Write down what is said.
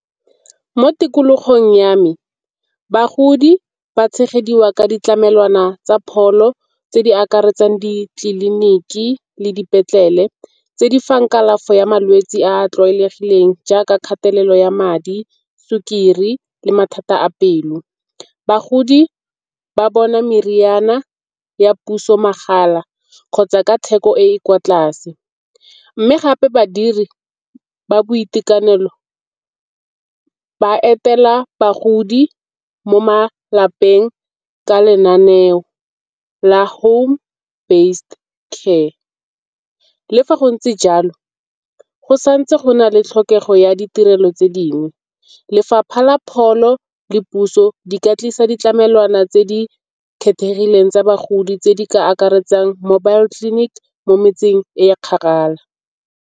Mo tikologong ya me bagodi ba tshegediwa ka ditlamelwana tsa pholo tse di akaretsang ditleliniki le dipetlele. Tse di fang kalafi ya malwetse a a tlwaelegileng jaaka kgatelelo ya madi, sukiri le mathata a pelo. Bagodi ba bona meriana ya puso mahala kgotsa ka theko e e kwa tlase. Mme gape badiri ba boitekanelo ba etela bagodi mo malapeng ka lenaneo la home-based care. Le fa go ntse jalo go santse go na le tlhokego ya ditirelo tse dingwe, lefapha la pholo le puso di ka tlisa ditlamelwana tse di kgethegileng tsa bagodi tse di ka akaretsang mobile clinic mo metseng e kgakala.